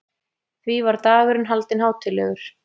Því var dagurinn haldinn hátíðlegur.